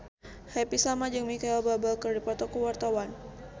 Happy Salma jeung Micheal Bubble keur dipoto ku wartawan